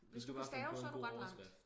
hvis du kan stave så er du ret langt